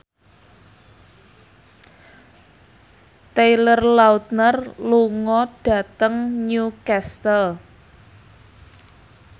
Taylor Lautner lunga dhateng Newcastle